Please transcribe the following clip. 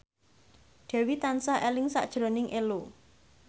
Dewi tansah eling sakjroning Ello